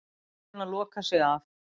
Búin að loka sig af